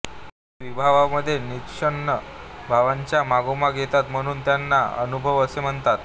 ते विभावांमध्ये निष्पन्न भावांच्या मागोमाग येतात म्हणून त्यांना अनुभाव असे म्हणतात